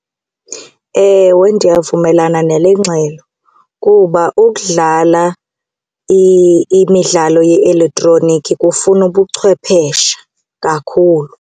Ewe, ndiyavumelana nale ngxelo kuba ukudlala imidlalo ye-elektroniki kufuna ubuchwepheshe kakhulu.